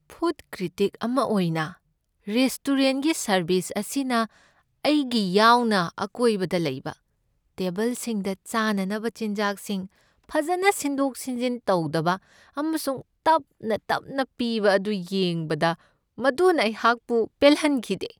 Food critic ꯑꯃ ꯑꯣꯏꯅ, ꯔꯦꯁꯇꯣꯔꯦꯟꯠꯒꯤ ꯁꯔꯕꯤꯁ ꯑꯁꯤꯅ ꯑꯩꯒꯤ ꯌꯥꯎꯅ ꯑꯀꯣꯏꯕꯗ ꯂꯩꯕ ꯇꯦꯕꯜꯁꯤꯡꯗ ꯆꯥꯅꯅꯕ ꯆꯤꯟꯖꯥꯛꯁꯤꯡ ꯐꯖꯅ ꯁꯤꯟꯗꯣꯛ ꯁꯤꯟꯖꯤꯟ ꯇꯧꯗꯕ ꯑꯃꯁꯨꯡ ꯇꯞꯅ ꯇꯞꯅ ꯄꯤꯕ ꯑꯗꯨ ꯌꯦꯡꯕꯗ ꯃꯗꯨꯅ ꯑꯩꯍꯥꯛꯄꯨ ꯄꯦꯜꯍꯟꯈꯤꯗꯦ꯫